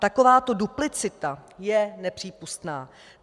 Takováto duplicita je nepřípustná.